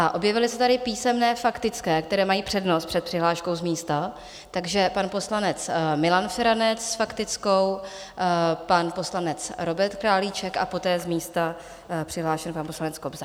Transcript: A objevily se tady písemné faktické, které mají přednost před přihláškou z místa, takže pan poslanec Milan Feranec s faktickou, pan poslanec Robert Králíček a poté z místa přihlášený pan poslanec Kobza.